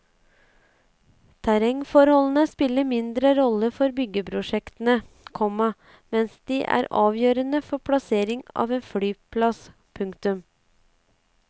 Terrengforholdene spiller mindre rolle for byggeprosjektene, komma mens de er avgjørende for plassering av en flyplass. punktum